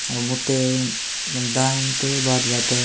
अब उते उन दयांते बात बात --